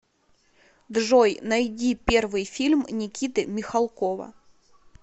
джой найди первый фильм никиты михалкова